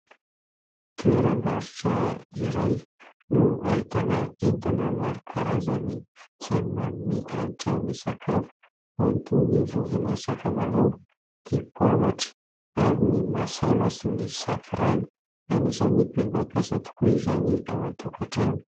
Toeram-barotra iray no ahitana entana maro karazany izay manome hanitra ny sakafo, toy ny vovon'ny sakamalao, dipoavatra, ary ny masala sy ny safirana. Anisany be mpampiasa tokoa izany ao an-tokantrano.